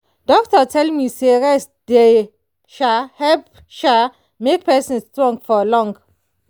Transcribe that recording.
doctor tell me say rest dey um help um make person strong for long.